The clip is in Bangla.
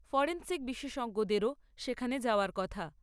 ফরেন্সিক বিশেষজ্ঞদেরও সেখানে যাওয়ার কথা।